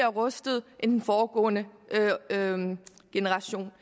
rustet end den foregående generation